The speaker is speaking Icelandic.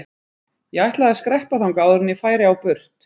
Ég ætlaði að skreppa þangað áður en ég færi á burt.